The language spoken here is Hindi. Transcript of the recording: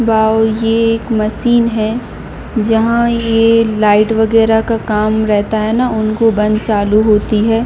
बाबूजी एक मशीन है जहां ये लाइट वगैरा का काम रहता हैउनको बंद चालू होती है।